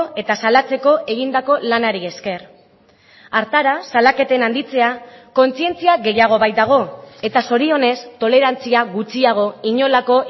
eta salatzeko egindako lanari esker hartara salaketen handitzea kontzientzia gehiago baitago eta zorionez tolerantzia gutxiago inolako